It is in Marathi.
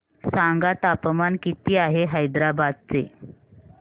सांगा तापमान किती आहे हैदराबाद चे